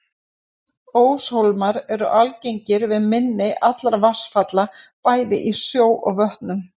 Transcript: Óshólmar eru algengir við mynni allra vatnsfalla, bæði í sjó og vötnum.